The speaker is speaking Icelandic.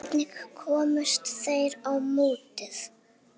Hvernig komust þeir á mótið?